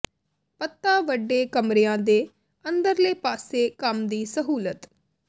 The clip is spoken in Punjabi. ਪੱਤਾ ਵੱਡੇ ਕਮਰਿਆਂ ਦੇ ਅੰਦਰਲੇ ਪਾਸੇ ਕੰਮ ਦੀ ਸਹੂਲਤ